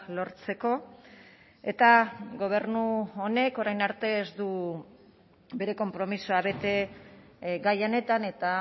lortzeko eta gobernu honek orain arte ez du bere konpromisoa bete gai honetan eta